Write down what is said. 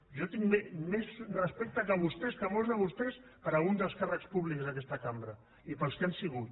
jo tinc més respecte que molts de vostès per a alguns dels càrrecs públics d’aquesta cambra i pels que han sigut